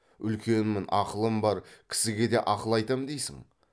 үлкенмін ақылым бар кісіге де ақыл айтам дейсің